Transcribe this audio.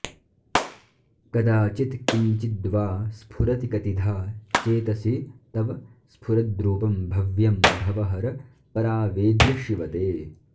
कदाचित्किञ्चिद्वा स्फुरति कतिधा चेतसि तव स्फुरद्रूपं भव्यं भवहर परावेद्य शिव ते